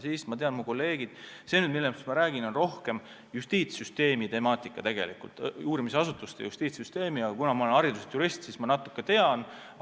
See, millest ma räägin, on küll rohkem uurimisasutuste ja justiitssüsteemi temaatika, aga kuna ma olen hariduselt jurist, siis ma natuke tean sellest.